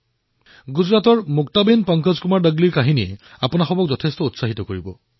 গুজৰাটৰ মুক্তাবেন পংকজকুমাৰ দগলীৰ কাহিনীয়ে আপোনাক প্ৰেৰণাৰে ভৰাই তুলিব